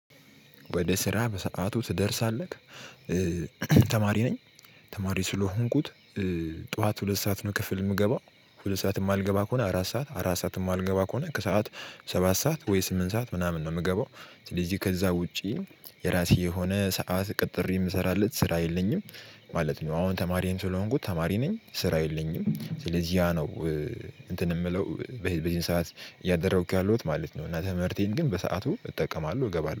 ወደ ስራ በሰአቱ ትደርሳለህ? ተማሪ ነኝ፣ ተማሪ ስለሆንኩት ጥዋት ሁለት ሰዓት ነው ክፍል የሚገበው። ሁለት ሰዓት የማልገባ ከሆነ አረት ሰዓት፣ አረት ሰዓት የማልገባ ከሆነ ከሰአት ሰባት ሰዓት ወይ ስምንት ሰዓት ምናምን ነው ምገበው። እዚህ ከዛ ውጪ የራሴ የሆነ ሰዓት ቅጥር የምሰራለት ስራ የለኝም። ማለት ነው አሁን ተማሪም ስለሆንኩት ተማሪ ነኝ፣ ስራ የለኝም፣ ስለዚህ ያ ነው። እንትን የምለው በዚህ ሰዓት እያደረኩ ያለውት ማለት ነው እና ትምህርቴን ግን በሰአቱ እጠቀማለሁ እገባለሁ።